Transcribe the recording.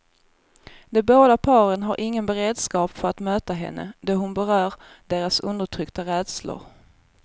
De båda paren har ingen beredskap för att möta henne, då hon berör deras undertryckta rädslor.